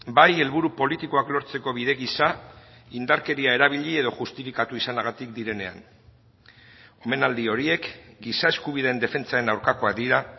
bai helburu politikoak lortzeko bide gisa indarkeria erabili edo justifikatu izanagatik direnean omenaldi horiek giza eskubideen defentsaren aurkakoak dira